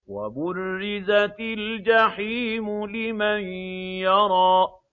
وَبُرِّزَتِ الْجَحِيمُ لِمَن يَرَىٰ